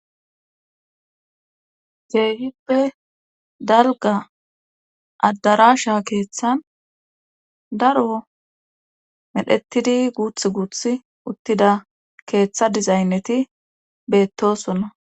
Keehippe dalga addarasha keeththan daro medhetidi guuth guuth uttida keeththa dizaynneti beettosonna